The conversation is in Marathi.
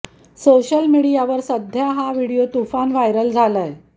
सोशल मीडियावर सध्या हा व्हिडिओ तुफान व्हायरल झालाय